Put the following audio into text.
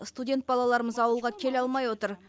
студент балаларымыз ауылға келе алмай отыр